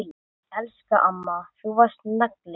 Elsku amma, þú varst nagli.